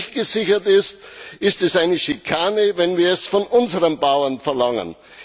Wenn das nicht gesichert ist, ist es eine Schikane, wenn wir es von unseren Bauern verlangen.